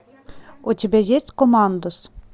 у тебя есть командос